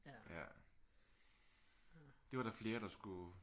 Det var der flere der skulle